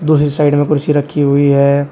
दूसरी साइड में कुर्सी रखी हुई है।